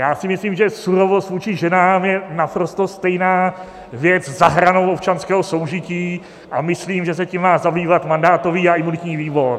Já si myslím, že surovost vůči ženám je naprosto stejná věc za hranou občanského soužití a myslím, že se tím má zabývat mandátový a imunitní výbor.